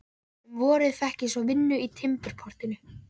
Um vorið fékk ég svo vinnu í timburportinu.